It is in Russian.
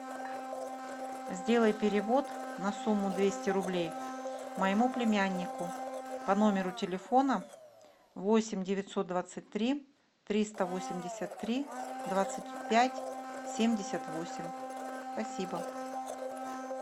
сделай перевод на сумму двести рублей моему племяннику по номеру телефона восемь девятьсот двадцать три триста восемьдесят три двадцать пять семьдесят восемь спасибо